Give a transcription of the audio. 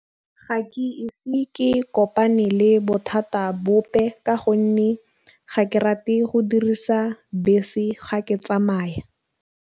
Ga ke ise ke kopane le bothata bope, ka gonne ga ke rate go dirisa bese ga ke tsamaya.